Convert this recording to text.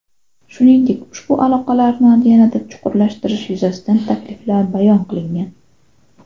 Shuningdek, ushbu aloqalarni yanada chuqurlashtirish yuzasidan takliflar bayon qilingan.